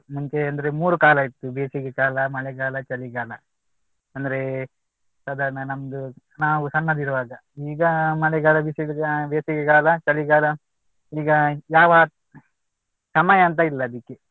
ಮುಂಚೆ ಅಂದ್ರೆ ಮೂರೂ ಕಾಲ ಇತ್ತು ಬೇಸಿಗೆ ಕಾಲ, ಮಳೆಗಾಲ, ಚಳಿಗಾಲ. ಅಂದ್ರೆ ಸಾಧಾರಣ ನಮ್ದು ನಾವು ಸಣ್ಣದಿರುವಾಗ ಈಗ ಮಳೆಗಾಲ ಬೇಸಿಗೆ ಬೇಸಿಗೆಗಾಲ ಚಳಿಗಾಲ ಈಗ ಯಾವ ಸಮಯ ಅಂತ ಇಲ್ಲಾ ಅದಿಕ್ಕೆ